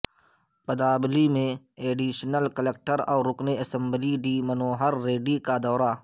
پداپلی میں additional collector اور رکن اسمبلی ڈی منوہر ریڈی کا دورہ